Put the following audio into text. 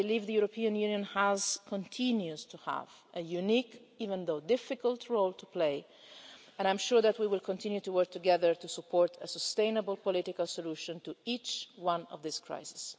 I believe the European Union has had and continues to have a unique, even though difficult, role to play, but I am sure that we will continue to work together to support a sustainable political solution to each one of these crises.